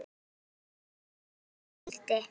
Hver eru þessi gildi?